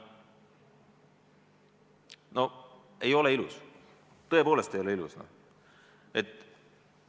No ei ole ilus, tõepoolest ei ole ilus!